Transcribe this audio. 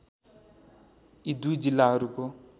यी दुई जिल्लाहरूको